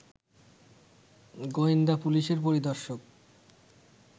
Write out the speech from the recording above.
গোয়েন্দা পুলিশের পরিদর্শক